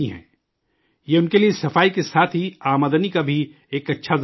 یہ ان کے لیے صفائی کے ساتھ ہی آمدنی کا بھی ایک اچھا ذریعہ بن رہا ہے